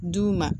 D'u ma